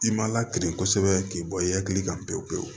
I ma lakiri kɔsɛbɛ k'i bɔ i hakili kan pewu pewu